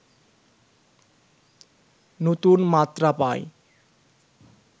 নতুন মাত্রা পায়